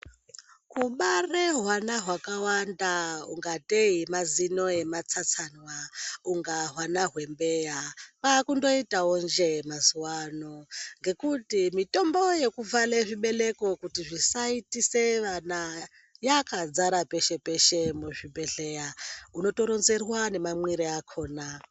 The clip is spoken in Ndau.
Kubare hwana hwakawanda kungatei mazino ematsatsanywa ,kunga hwana hwembeya kwaakungoitawo njee mazuwa ano ngekuti mitombo yekuvhare zvibeleko kuti zvisaitise vana yakazara peshe peshe muzvibhehleya unotoronzerwa nemamwire akona.